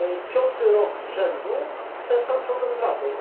Piąty rok z rzędu ten sam problem z Radą.